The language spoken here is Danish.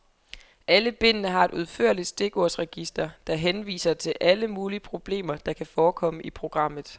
Alle bindene har et udførligt stikordsregister, der henviser til alle mulige problemer, der kan forekomme i programmet.